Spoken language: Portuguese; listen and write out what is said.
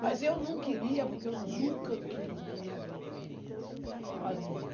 Mas eu não queria, porque eu nunca quis na minha vida, meninas, ó as meninas.